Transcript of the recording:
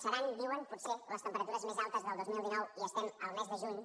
seran diuen potser les temperatures més altes del dos mil dinou i estem al mes de juny